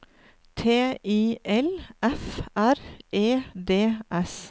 T I L F R E D S